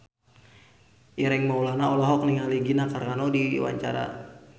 Ireng Maulana olohok ningali Gina Carano keur diwawancara